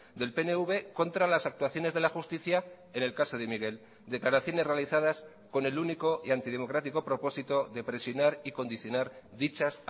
del pnv contra las actuaciones de la justicia en el caso de miguel declaraciones realizadas con el único y antidemocrático propósito de presionar y condicionar dichas